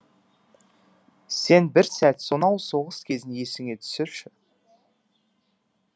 сен бір сәт сонау соғыс кезін есіңе түсірші